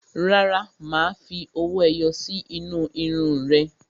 Rárá, má fi owó ẹyọ sí inú irun ún rẹ